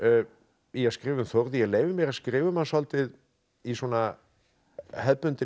í að skrifa um Þórð ég leyfi mér að skrifa um hann svolítið í svona hefðbundinni